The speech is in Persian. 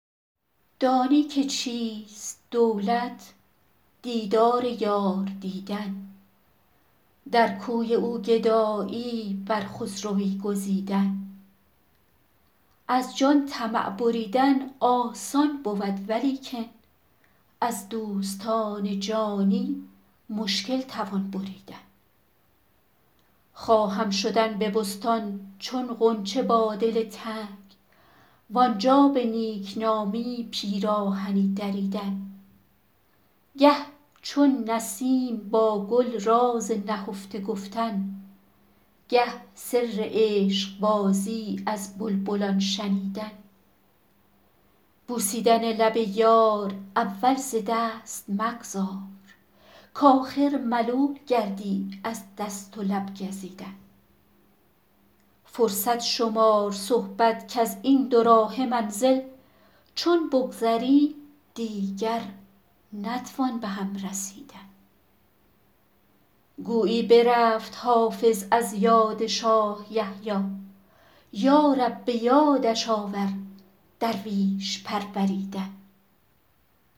دانی که چیست دولت دیدار یار دیدن در کوی او گدایی بر خسروی گزیدن از جان طمع بریدن آسان بود ولیکن از دوستان جانی مشکل توان بریدن خواهم شدن به بستان چون غنچه با دل تنگ وآنجا به نیک نامی پیراهنی دریدن گه چون نسیم با گل راز نهفته گفتن گه سر عشق بازی از بلبلان شنیدن بوسیدن لب یار اول ز دست مگذار کآخر ملول گردی از دست و لب گزیدن فرصت شمار صحبت کز این دوراهه منزل چون بگذریم دیگر نتوان به هم رسیدن گویی برفت حافظ از یاد شاه یحیی یا رب به یادش آور درویش پروریدن